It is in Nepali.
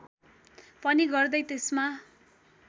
पनि गर्दै त्यसमा